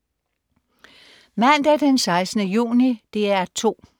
Mandag den 16. juni - DR 2: